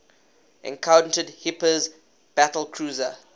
encountered hipper's battlecruiser